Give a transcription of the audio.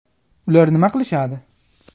Ular nima qilishadi?